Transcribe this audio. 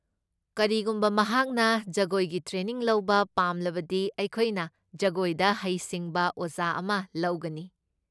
ꯀꯔꯤꯒꯨꯝꯕ ꯃꯍꯥꯛꯅ ꯖꯒꯣꯏꯒꯤ ꯇ꯭ꯔꯦꯅꯤꯡ ꯂꯧꯕ ꯄꯥꯝꯂꯕꯗꯤ ꯑꯩꯈꯣꯏꯅ ꯖꯒꯣꯏꯗ ꯍꯩꯁꯤꯡꯕ ꯑꯣꯖꯥ ꯑꯃ ꯂꯧꯒꯅꯤ꯫